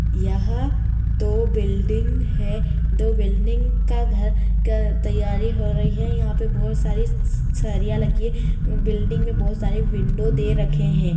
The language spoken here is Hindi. यहाँ दो बिल्डिंग है दो बिल्डिंग का घर का तैयारी हो रही है यहाँ पे बहोत सारी स सरिया लगी हैं बिल्डिंग में बहोत सारी विंडो दे रखे हैं।